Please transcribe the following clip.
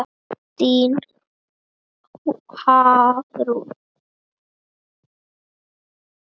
Þín Hafrún.